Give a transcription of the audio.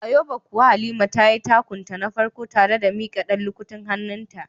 A yobe kuwa Halima tayi takun ta na farko tare da mika dan lukutin hannunta.